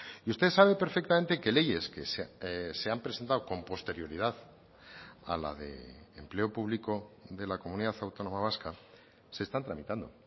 y usted sabe perfectamente que leyes que se han presentado con posterioridad a la de empleo público de la comunidad autónoma vasca se están tramitando